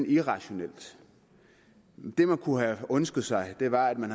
irrationelt det man kunne have ønsket sig var at man